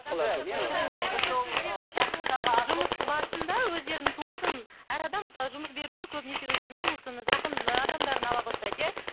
жұмыс барысында өздерінің туысын әр адам мысалы жұмыс беруші көбінесе өздерінің туысын жақын ы адамдарын ала бастайды иә